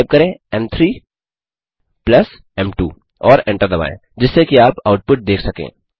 type करें m3m2 और enter दबाएँ जिससे कि आप आउटपुट देख सकें